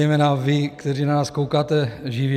Zejména vy, kteří na nás koukáte živě.